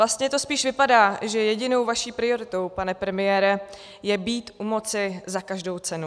Vlastně to spíš vypadá, že jedinou vaší prioritou, pane premiére, je být u moci za každou cenu.